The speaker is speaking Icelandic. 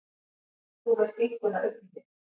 Þú með skinkuna uppí þér.